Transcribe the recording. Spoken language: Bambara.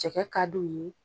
Cɛkɛ ka d'u ye